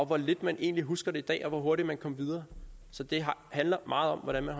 hvor lidt man egentlig husker det i dag og hvor hurtigt man kom videre så det handler meget om hvordan man